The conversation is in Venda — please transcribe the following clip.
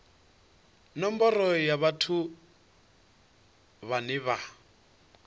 nomboro ya vhathu vhane vha